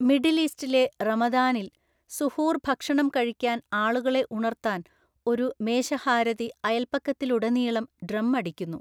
Middle ഈസ്റ്റിലെ റമദാനിൽ, സുഹൂർ ഭക്ഷണം കഴിക്കാൻ ആളുകളെ ഉണർത്താൻ ഒരു മേശഹാരതി അയൽപക്കത്തിലുടനീളം ഡ്രം അടിക്കുന്നു.